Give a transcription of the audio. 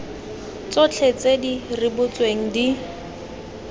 tsotlhe tse di rebotsweng di